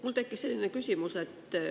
Mul tekkis selline küsimus.